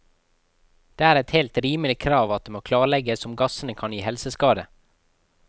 Det er et helt rimelig krav at det må klarlegges om gassene kan gi helseskade.